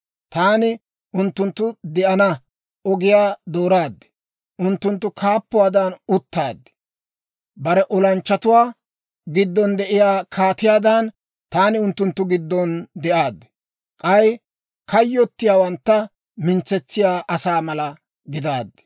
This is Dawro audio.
Taani unttunttu de'ana ogiyaa dooraad; unttunttu kaappuwaadan uttaad. Bare olanchchatuwaa giddon de'iyaa kaatiyaadan, taani unttunttu giddon de'aaddi. K'ay kayyottiyaawantta mintsetsiyaa asaa mala gidaaddi.